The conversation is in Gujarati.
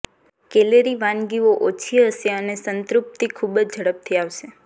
કેલરી વાનગીઓ ઓછી હશે અને સંતૃપ્તિ ખૂબ જ ઝડપથી આવશે